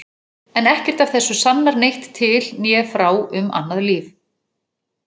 En ekkert af þessu sannar neitt til né frá um annað líf.